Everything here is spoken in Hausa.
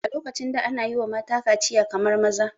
A lokacin da ana yiwa mata kaciya kamar maza